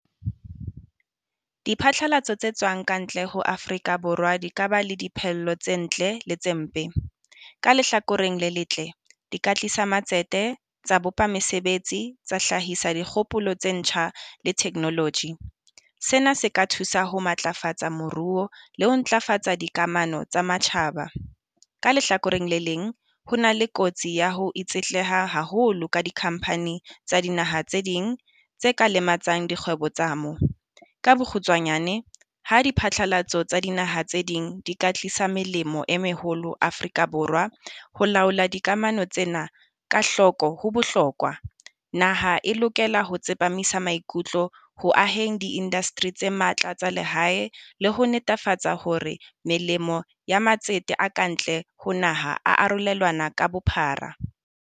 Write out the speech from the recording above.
Diphatlalatso tse tswang ka ntle ho Afrika Borwa di ka ba le dipehello tse ntle le tse mpe. Ka lehlakoreng le letle, di ka tlisa matsete tsa bopa mesebetsi tsa hlahisa dikgopolo tse ntjha le technology. Sena se ka thusa ho matlafatsa moruo le ho ntlafatsa dikamano tsa matjhaba, ka lehlakoreng le leng, ho na le kotsi ya ho itsetleha haholo ka di-company tsa dinaha tse ding tse ka lematsang dikgwebo tsa mo. Ka bokgutswanyane ha di phatlalatso tsa dinaha tse ding di ka tlisa melemo e meholo Afrika Borwa. Ho laola dikamano tsena ka hloko ho bohlokwa. Naha e lokela ho tsepamisa maikutlo ho aheng di-industry tse matla tsa lehae le ho netefatsa hore melemo ya matsete a ka ntle ho naha a arolelanwa ka bophara.